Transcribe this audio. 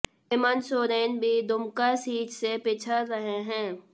हेमंत सोरेन भी दुमका सीट से पिछड़ रहे हैं